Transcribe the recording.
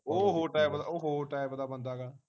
ਉਹ ਹੋਰ ਟਾਈਪ ਦਾ ਉਹ ਹੋਰ ਟਾਈਪ ਦਾ ਬੰਦਾ ਹੈਗਾ